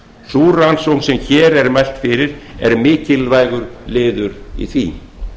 sú rannsókn sem hér er mælt fyrir er mikilvægur liður í því